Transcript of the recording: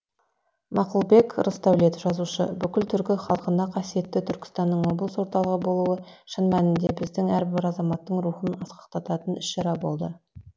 мақұлбек рысдәулет жазушы бүкіл түркі халқына қасиетті түркістанның облыс орталығы болуы шын мәнінде біздің әрбір азаматтың рухын асқақтататын іс шара болды